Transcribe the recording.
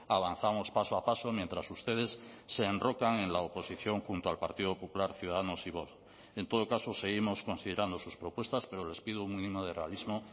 avanzamos paso a paso mientras ustedes se enrocan en la oposición junto al partido popular ciudadanos y vox en todo caso seguimos considerando sus propuestas pero les pido un mínimo de realismo